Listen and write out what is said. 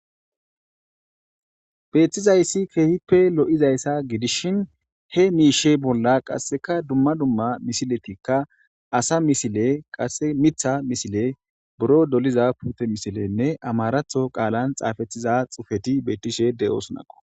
Beetizayssi keehippe lo'izaysa gidishin,he miishe bolla qasseka dumma dumma misiletika asa misile qasse miththa misile,buro doliza puutetanne amaratho qaalan xaafetida xuufetika beetishe de'oosonako.